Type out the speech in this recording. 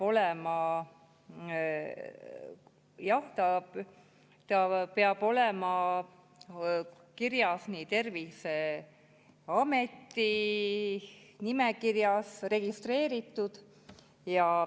Ta peab olema Terviseameti nimekirjas registreeritud.